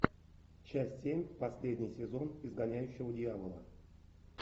часть семь последний сезон изгоняющего дьявола